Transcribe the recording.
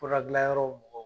Furadiilanyɔrɔ mɔgɔw